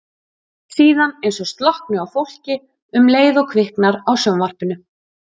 Síðan eins og slokkni á fólki um leið og kviknar á sjónvarpinu.